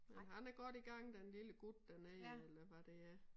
Han er godt i gang den lille gut dernede eller hvad det er